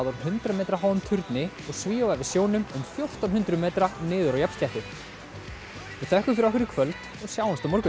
úr hundrað metra háum turni og svífa yfir sjónum um fjórtán hundruð metra niður á jafnsléttu við þökkum fyrir okkur í kvöld og sjáumst á morgun